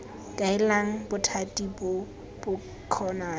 kaelang bothati bo bo kgonang